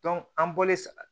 an bɔlen sa